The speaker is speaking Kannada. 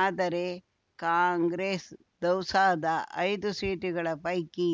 ಆದರೆ ಕಾಂಗ್ರೆಸ್‌ ದೌಸಾದ ಐದು ಸೀಟುಗಳ ಪೈಕಿ